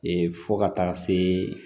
fo ka taa se